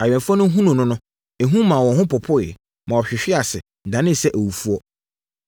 Awɛmfoɔ no hunuu no no, ehu maa wɔn ho popoeɛ, na wɔhwehwee ase, danee sɛ awufoɔ.